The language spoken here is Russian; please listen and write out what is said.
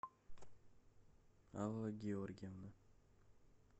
алла георгиевна